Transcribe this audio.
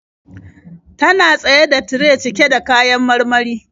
Tana tsaye da tire cike da kayan marmari.